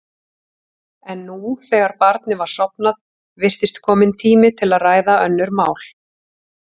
En nú, þegar barnið var sofnað, virtist kominn tími til að ræða önnur mál.